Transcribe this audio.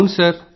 అవును సార్